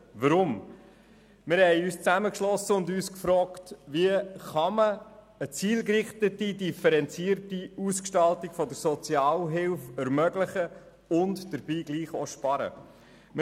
Wir haben uns zusammengeschlossen und uns gefragt, wie man eine zielgerichtete, differenzierte Ausgestaltung der Sozialhilfe ermöglichen und dabei trotzdem sparen kann.